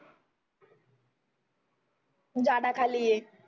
झाडा खाली आहे